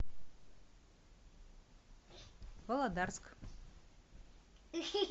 володарск